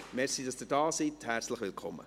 Danke, dass Sie hier sind, herzlich willkommen.